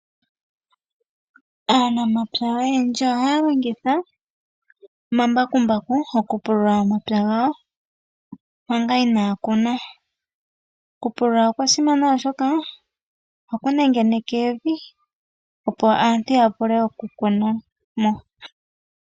Aanamapya oyendji ohaya longitha omambakumbaku okupula omapya gawo manga inaya kuna. Okupulula okwa simana oshoka ohaku nengeneke evi opo aantu ya vule okukuna mo.